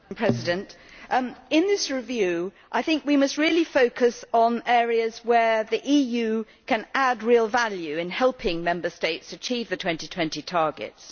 Madam President, in this review I think we must really focus on areas where the EU can add real value in helping Member States achieve the 2020 targets.